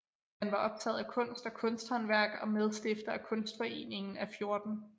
Han var optaget af kunst og kunsthåndværk og medstifter af Kunstforeningen af 14